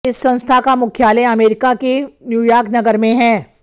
इस संस्था का मुख्यालय अमरीका के न्यूयार्क नगर में है